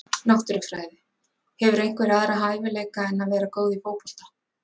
Náttúrufræði Hefurðu einhverja aðra hæfileika en að vera góð í fótbolta?